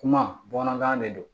Kuma bamanankan de don